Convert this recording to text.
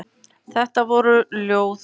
Þetta voru Ljóð úr